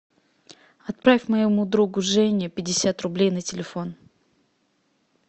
отправь моему другу жене пятьдесят рублей на телефон